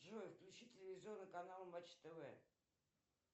джой включи телевизионный канал матч тв